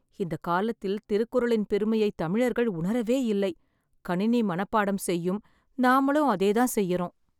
இந்த காலத்தில் திருக்குறளின் பெருமையை தமிழர்கள் உணரவே இல்லை. கணினி மனப்பாடம் செய்யும். நாமளும் அதே தான் செய்யறோம்